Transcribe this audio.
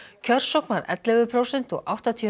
kjörsókn var ellefu prósent og áttatíu